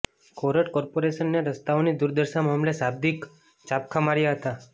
કોર્ટે કોર્પોરેશનને રસ્તાઓની દુર્દશા મામલે શાબ્દિક ચાબખા માર્યા હતા